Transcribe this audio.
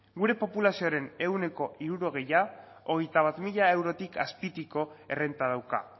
gure populazioaren ehuneko hirurogeia hogeita bat mila eurotik azpiko errenta dauka